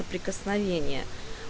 прикосновение